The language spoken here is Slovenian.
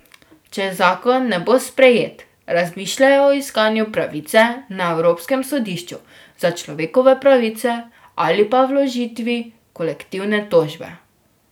Če zakon ne bo sprejet, razmišljajo o iskanju pravice na Evropskem sodišču za človekove pravice ali pa vložitvi kolektivne tožbe.